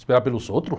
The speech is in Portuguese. Esperar pelos outros?